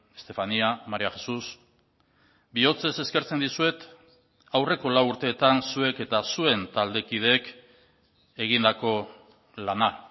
estefanía maría jesús bihotzez eskertzen dizuet aurreko lau urteetan zuek eta zuen taldekideek egindako lana